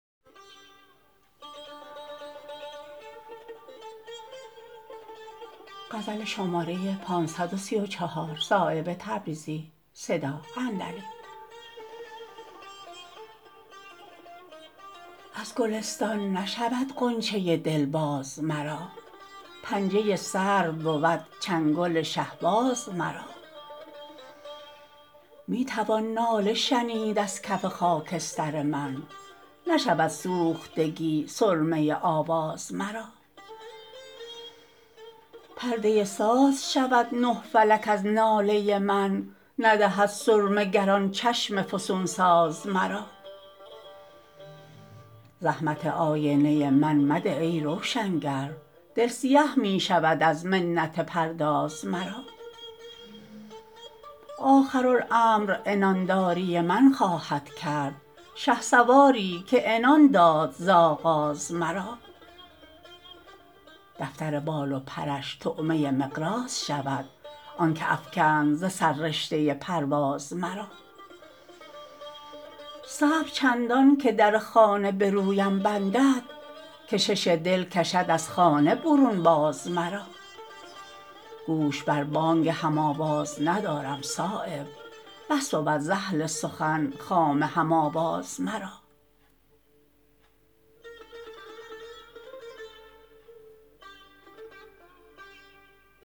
از گلستان نشود غنچه دل باز مرا پنجه سرو بود چنگل شهباز مرا می توان ناله شنید از کف خاکستر من نشود سوختگی سرمه آواز مرا پرده ساز شود نه فلک از ناله من ندهد سرمه گر آن چشم فسونساز مرا زحمت آینه من مده ای روشنگر دل سیه می شود از منت پرداز مرا آخرالامر عنانداری من خواهد کرد شهسواری که عنان داد ز آغاز مرا دفتر بال و پرش طعمه مقراض شود آن که افکند ز سر رشته پرواز مرا صبر چندان که در خانه به رویم بندد کشش دل کشد از خانه برون باز مرا گوش بر بانگ هم آواز ندارم صایب بس بود ز اهل سخن خامه هم آواز مرا